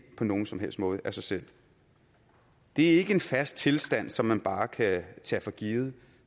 på nogen som helst måde af sig selv det er ikke en fast tilstand som man bare kan tage for givet